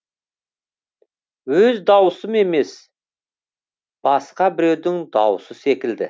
өз даусым емес басқа біреудің даусы секілді